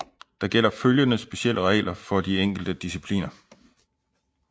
Der gælder følgende specielle regler for de enkelte discipliner